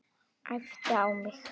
Æpti á mig.